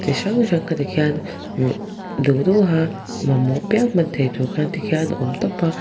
chi hrang hrang kha ti khian ih duh duh a mamawh piang hman theih tur khan ti khian a awm tawp a.